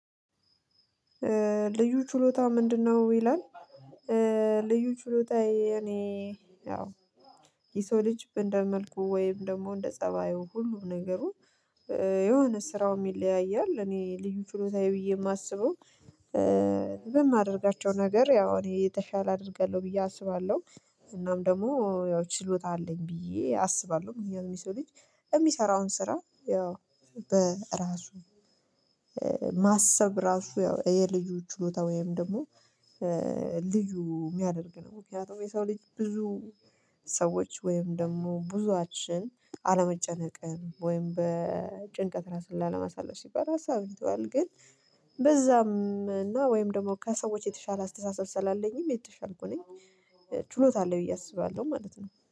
ልዩ ችሎታህ ምንድነው? ይላል ልዩ ችሎታ የኔ ሰው ልጅ እንደመልኩ ወይም ደግሞ እንደ ፀባዩ ሁሉ ነገሩ የሆነ ስራውም ይለያያል እኔ ልዩ ችሎታዬ ብዬ የማስበው። በማደርጋቸው ነገር ያው እኔ የተሻለ አደርጋለሁ ብዬ አስባለሁ። እናም ደግሞ ያው ችሎታ አለኝ ብዬ አስባለሁ የሚሰሩት የሰው ልጅ የሚሰራውን ስራ ያው በራሱ ማሰብ ራሱ ያው የልዩ ችሎታ ወይም ደግሞ ልዩ የሚያደርግ ነው። ምክንያቱም የሰው ልጅ ብዙ ሰዎች ወይም ደግሞ ብዙዎቻችን አለመጨነቅም ወይም በጭንቀት ራስን ላለማሳለፍ ሲባል ራሱ አውርቷል። ግን በዛም እና ወይም ደግሞ ከሰዎች የተሻለ አስተሳሰብ ስላለኝም የተሻልኩኝ ችሎታ አለኝ ብዬ አስባለሁ ማለት ነው